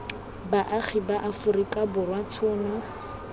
baagi ba aforika borwa tshono